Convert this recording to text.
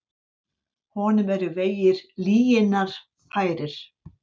Honum eru vegir lyginnar færir.